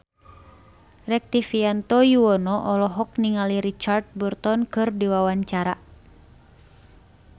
Rektivianto Yoewono olohok ningali Richard Burton keur diwawancara